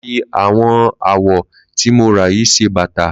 Mà á fi àwọn awọ tí mo rà yìí ṣe bàtà